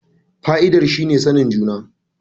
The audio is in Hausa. Fa'idar shi ne sanin juna.